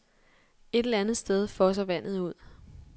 Et eller andet sted fosser vandet ud.